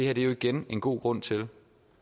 er jo igen en god grund til